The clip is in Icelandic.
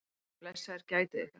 Drengir, blessaðir gætið ykkar.